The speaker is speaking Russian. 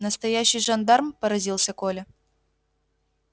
настоящий жандарм поразился коля